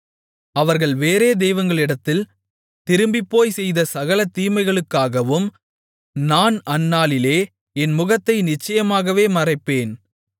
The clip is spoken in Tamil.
அவர்கள் வேறே தெய்வங்களிடத்தில் திரும்பிப்போய்ச் செய்த சகல தீமைகளுக்காகவும் நான் அந்நாளிலே என் முகத்தை நிச்சயமாகவே மறைப்பேன்